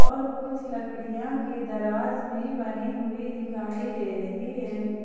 और कुछ लकड़िया की दराज भी बनी हुई दिखाई दे रही है।